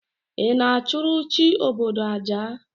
Ị na-achụrụ chi obodo aja?